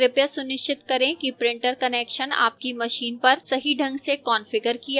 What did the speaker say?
कृपया सुनिश्चित करें कि printer connection आपकी machine पर सही ढंग से कॉन्फ़िगर किया गया है